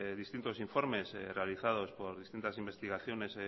distintos informes realizados por distintas investigaciones